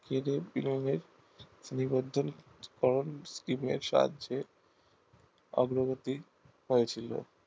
অগ্রগতি ঘটেছিলো